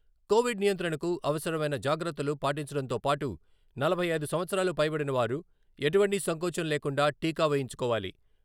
Covid నియంత్రణకు అవసరమైన జాగ్రత్తలు పాటించడంతో పాటు, నలభై ఐదు సంవత్సరాలు పైబడినవారు ఎటువంటి సంకోచం లేకుండా టీకా వేయించుకోవాలి.